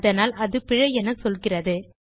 அதனால் அது பிழை என சொல்கிறது